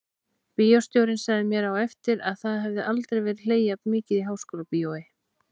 Bíóstjórinn sagði mér á eftir að það hefði aldrei verið hlegið jafn mikið í Háskólabíói.